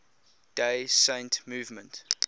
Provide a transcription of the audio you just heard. day saint movement